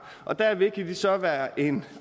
og derved kan de så være en